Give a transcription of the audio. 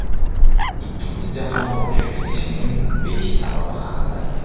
Ikkinchi jahon urushi tugashining besh sababi haqida.